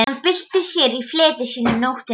Hann bylti sér í fleti sínu um nóttina.